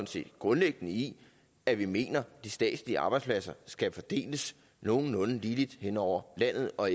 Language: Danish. set grundlæggende i at vi mener at de statslige arbejdspladser skal fordeles nogenlunde ligeligt hen over landet og